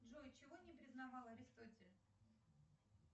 джой чего не признавал аристотель